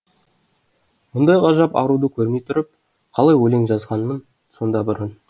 мұндай ғажап аруды көрмей тұрып қалай өлең жазғанмын сонда бұрын